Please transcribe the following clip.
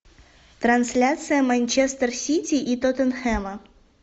трансляция манчестер сити и тоттенхэма